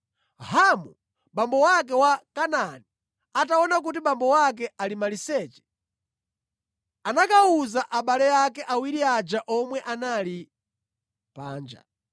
Hamu, abambo ake a Kanaani ataona kuti abambo ake ali maliseche anakawuza abale ake awiri aja omwe anali panja.